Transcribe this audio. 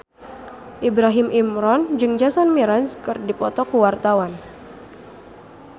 Ibrahim Imran jeung Jason Mraz keur dipoto ku wartawan